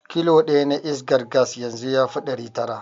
Kilo ɗaya na iskar gas yanzu yafi ɗari tara.